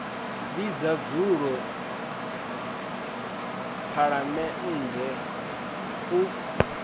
vhidza dzulo ḽa phaḽamennde u